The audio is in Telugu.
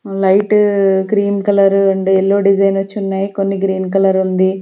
Light cream colour and yellow design వచ్చి ఉన్నాయి కొన్ని గ్రీన్ కలర్ ఉంది.